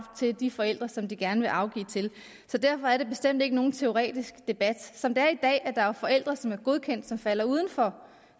til de forældre som de gerne vil afgive til så derfor er det bestemt ikke nogen teoretisk debat som det er i dag er der jo forældre som er godkendt og som falder udenfor